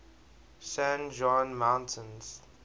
san juan mountains